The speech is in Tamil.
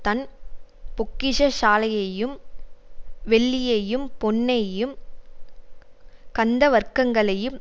தன் பொக்கிஷ சாலையையும் வெள்ளியையும் பொன்னையும் கந்தவர்க்கங்களையும்